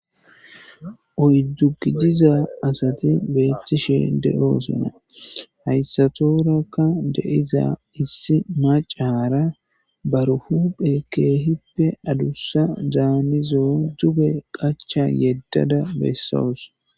Oyddu gidiza asathi beeththishe de7oosona; hayssathuurakka de7iza issi maccaara bar huuphee keehippe adussazaanizo duge qachcha yeddada bessawus.